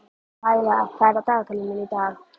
Laíla, hvað er á dagatalinu mínu í dag?